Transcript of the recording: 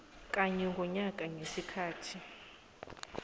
kanye ngonyaka ngesikhathi